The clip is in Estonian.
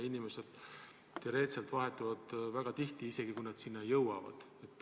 Inimesed vahetuvad väga tihti, isegi kui nad sinna kohale jõuavad.